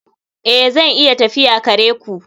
Ee, zan iya tafiya kare ku